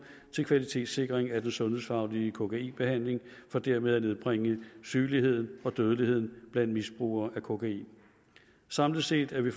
til kvalitetssikring af den sundhedsfaglige kokainbehandling for dermed at nedbringe sygeligheden og dødeligheden blandt misbrugere af kokain samlet set er vi